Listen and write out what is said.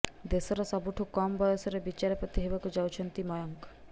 ଦେଶର ସବୁଠୁ କମ୍ ବୟସରେ ବିଚାରପତି ହେବାକୁ ଯାଉଛନ୍ତି ମୟଙ୍କ